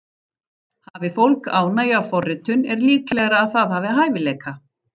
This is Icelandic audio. Hafi fólk ánægju af forritun er líklegra að það hafi hæfileika.